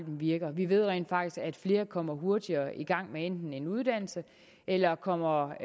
virker vi ved rent faktisk at flere enten kommer hurtigere i gang med en en uddannelse eller kommer